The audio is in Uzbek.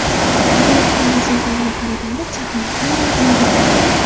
Guvohlarning so‘zlariga qaraganda, chaqmoq aynan unga urgan.